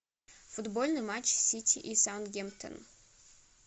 футбольный матч сити и саутгемптон